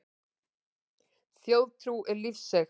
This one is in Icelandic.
Þjóðtrú er lífseig.